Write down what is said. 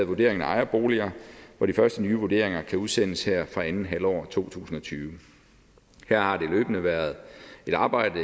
vurderingen af ejerboliger og de første nye vurderinger kan udsendes her fra andet halvår af to tusind og tyve her har der løbende været et arbejde